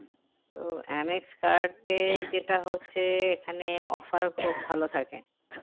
তো MX card এ যেটা হচ্ছে এখানে offer খুব ভালো থাকে